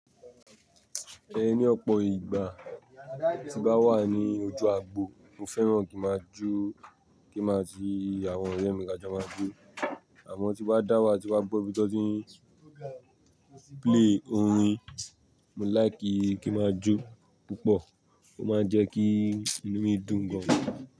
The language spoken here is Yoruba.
Ẹ ni ọ̀pọ̀ ìgbà tí bá wà ní ojú agbo, mo fẹ́ràn kí máa jó, kí màá tì àwọn ọ̀rẹ́ mi ká jọ máa jó. Àmọ́ tí bá dá wá, tí bá gbọ́ bí tán tí ń play orin, mo like kí máa jó púpọ̀, ó máa ń jẹ kí inú mi dùn gan-an.